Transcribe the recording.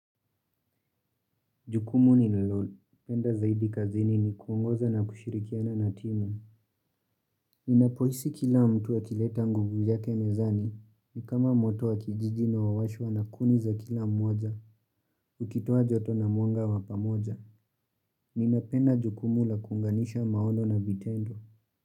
Jukumu nililo. Penda zaidi kazini ni kuongoza na kushirikiana na timu. Ninapohisi kila mtu akileta nguvu yake mezani. Ni kama moto wa kijiji unaowashwa na kuni za kila mmoja. Ukitoa joto na mwanga wa pamoja. Ninapenda jukumu la kuunganisha maono na vitendo.